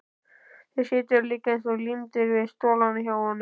Þeir sitja líka eins og límdir við stólana hjá honum!